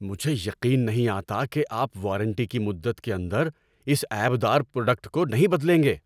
مجھے یقین نہیں آتا کہ آپ وارنٹی کی مدت کے اندر اس عیب دار پروڈکٹ کو نہیں بدلیں گے۔